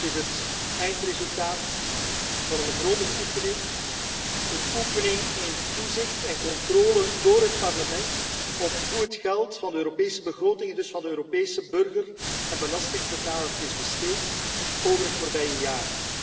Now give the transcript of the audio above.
Dat is het eindresultaat van een grondige oefening, een oefening in toezicht en controle door het Parlement op hoe het geld van de Europese begroting, en dus van de Europese burger en belastingbetaler is besteed over het voorbije jaar.